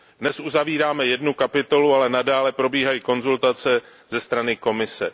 Dnes uzavíráme jednu kapitolu, ale nadále probíhají konzultace ze strany Komise.